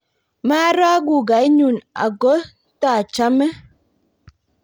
maaro kugoe nyu aku taachame